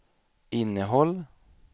innehåll